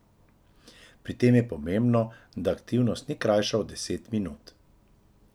Pri tem je pomembno, da aktivnost ni krajša od deset minut.